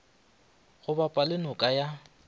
go bapa le noka ya